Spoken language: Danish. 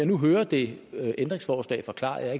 nu hører det ændringsforslag forklaret jeg